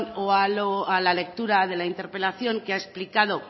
o la lectura de la interpelación que ha explicado